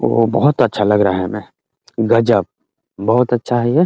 ओ बहोत अच्छा लग रहा है हमें गजब बहोत अच्छा है ये।